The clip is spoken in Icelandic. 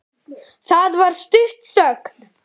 Það varð stutt þögn.